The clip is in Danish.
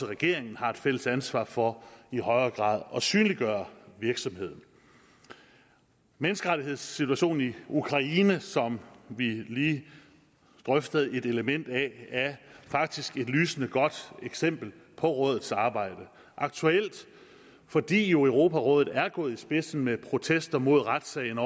regeringen har et fælles ansvar for i højere grad at synliggøre virksomheden menneskerettighedssituationen i ukraine som vi lige drøftede et element af er faktisk et lysende godt eksempel på rådets arbejde og aktuelt fordi europarådet jo er gået i spidsen med protester mod retssagen